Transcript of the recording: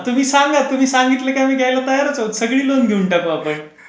तुम्ही सांगा तुम्ही सांगितलं की मी घ्यायला तयारच अहो सगळी लोन घेऊन टाकू आपण.